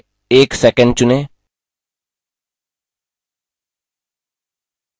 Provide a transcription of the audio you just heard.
समय 1sec चुनें